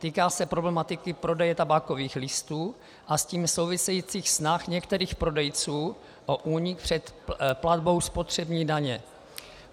Týká se problematiky prodeje tabákových listů a s tím souvisejících snah některých prodejců o únik před platbou spotřební daně.